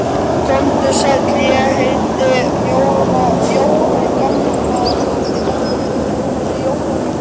Komdu sæll, ég heiti Jóra Gamladóttir